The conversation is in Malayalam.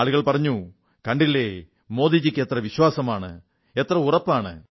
ആളുകൾ പറഞ്ഞു കണ്ടില്ലേ മോദിജിക്ക് എത്ര ആത്മവിശ്വാസമാണ് എത്ര ഉറപ്പാണ്